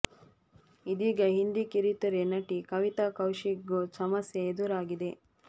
ಇದೀಗ ಹಿಂದಿ ಕಿರುತೆರೆ ನಟಿ ಕವಿತಾ ಕೌಶಿಕ್ ಗೂ ಸಮಸ್ಯೆ ಎದುರಾಗಿದೆ